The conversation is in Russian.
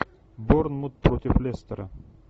борнмут против лестера